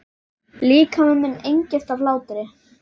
Líkami minn engist af hlátri.